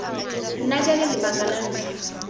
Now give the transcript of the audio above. nna jalo lebaka la ntlha